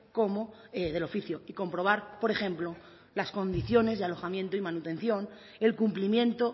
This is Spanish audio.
como del oficio y comprobar por ejemplo las condiciones y alojamiento y manutención el cumplimiento